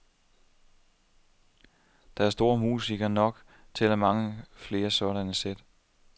Der er store musikere nok til mange flere sådanne sæt.